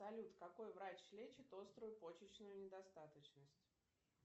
салют какой врач лечит острую почечную недостаточность